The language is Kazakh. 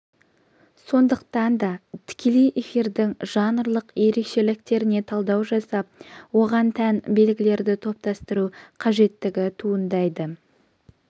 сондықтан да тікелей эфирдің жанрлық ерекшеліктеріне талдау жасап оған тән белгілерді топтастыру қажеттігі туындайды